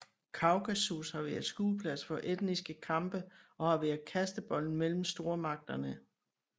Kaukasus har været skueplads for etniske kampe og har været kastebold mellem stormagterne